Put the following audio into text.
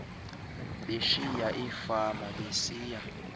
beshiya iifama besiya